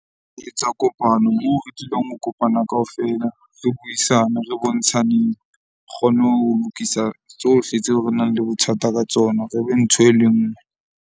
Etsa kopano moo re dulang ho kopana kaofela re buisane re bontshaneng, kgone ho lokisa tsohle tseo re nang le bothata ka tsona. Re be ntho e le nngwe.